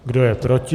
Kdo je proti?